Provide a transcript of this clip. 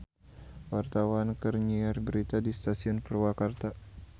Wartawan keur nyiar berita di Stasiun Purwakarta